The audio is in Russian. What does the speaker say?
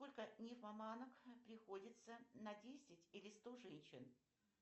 сколько нимфоманок приходится на десять или сто женщин